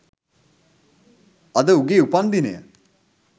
අද උගේ උපන්දිනය